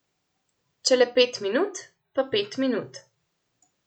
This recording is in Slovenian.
Če le pet minut, pa pet minut.